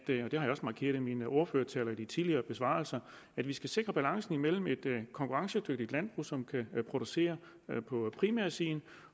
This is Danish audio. det har jeg også markeret i min ordførertale og i de tidligere besvarelser at vi skal sikre balancen mellem et konkurrencedygtigt landbrug som kan producere på primærsiden